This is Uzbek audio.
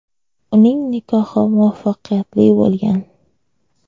Uning nikohi muvaffaqiyatli bo‘lgan.